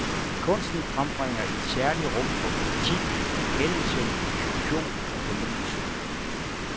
Kunsten frembringer et særligt rum for kritik, erkendelse, diskussion og fornyelse.